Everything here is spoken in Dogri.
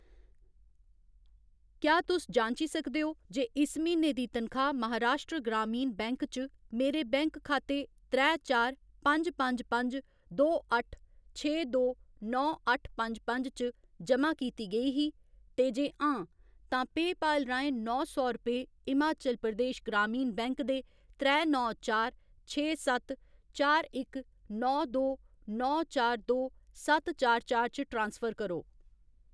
क्या तुस जांची सकदे ओ जे इस म्हीने दी तनखाह्‌‌ महाराश्ट्र ग्रामीण बैंक च मेरे बैंक खाते त्रै चार पंज पंज पंज दो अट्ठ छे दो नौ अट्ठ पंज पंज च जमा कीती गेई ही, ते जे हां, तां पेऽपाल राहें नौ सौ रपेऽ हिमाचल प्रदेश ग्रामीण बैंक दे त्रै नौ चार छे सत्त चार इक नौ दो नौ चार दो सत्त चार चार च ट्रांसफर करो।